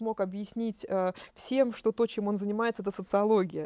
мог объяснить всем что то чем он занимается это социология